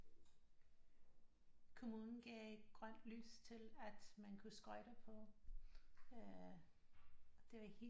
Kommunen gav grønt lys til at man kunne skøjte på øh og det var helt